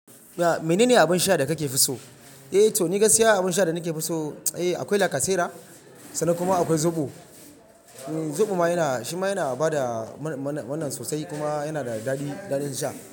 Ya mene ne abin sha da kake fi so? Eh to ni gaskiya abin sha da nake fi so, eh akwai lacasera sannan kuma akwai zobo. Zobo ma yana shi ma yana bada mana, mana, mana sosai kuma yana da daɗi, daɗin sha.